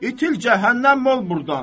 İtil cəhənnəm ol burdan.